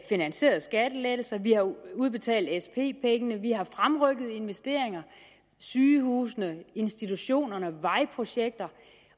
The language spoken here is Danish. finansierede skattelettelser vi har udbetalt sp pengene vi har fremrykket investeringer sygehusene institutionerne vejprojekter